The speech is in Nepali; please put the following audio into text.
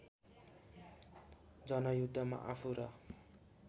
जनयुद्धमा आफू र